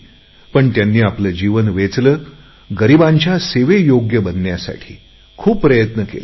पण त्यांनी आपले जीवन वेचले गरीबांच्या सेवेयोग्य बनण्यासाठी खूप प्रयत्न केले